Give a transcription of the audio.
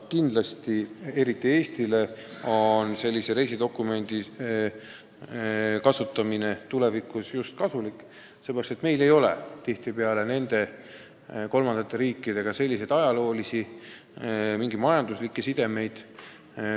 Kindlasti on sellise reisidokumendi kasutamine eriti Eestile tulevikus kasulik, sellepärast et meil ei ole tihtipeale kolmandate riikidega mingeid ajaloolisi ega majanduslikke sidemeid.